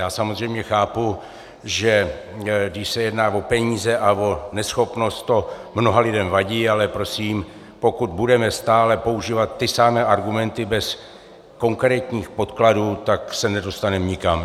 Já samozřejmě chápu, že když se jedná o peníze a o neschopnost, to mnoha lidem vadí, ale prosím, pokud budeme stále používat ty samé argumenty bez konkrétních podkladů, tak se nedostaneme nikam.